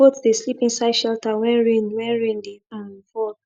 goat dey sleep inside shelter when rain when rain dey um fall